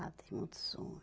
Ah, tem muito sonho.